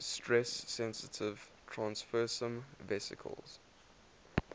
stress sensitive transfersome vesicles